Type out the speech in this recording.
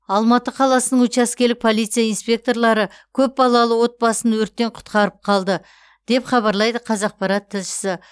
алматы қаласының учаскелік полиция инспекторлары көпбалалы отбасын өрттен құтқарып қалды деп хабарлайды қазақпарат тілшісі